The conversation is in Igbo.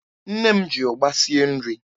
Nne m ji ụgba sie nri.